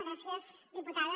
gràcies diputada